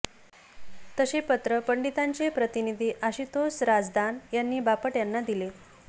तसे पत्र पंडितांचे प्रतिनिधी आशुतोस राझदान यांनी बापट यांना दिले